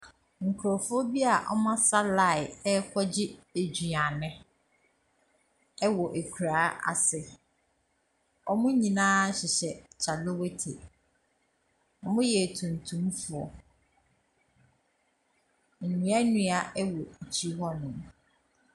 Nkorɔfoɔ bi a ɔmo asa laan ɛɛkɔ gye eduane ɛwɔ ekura ase. Ɔmo nyina hyehyɛ kyalewatey. Ɔmo yɛ tuntum foɔ. Nduadua ɛwɔ ekyi hɔ nom.